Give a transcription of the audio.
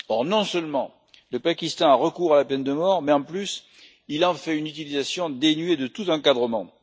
Or, non seulement le Pakistan a recours à la peine de mort, mais en plus, il en fait une utilisation dénuée de tout encadrement.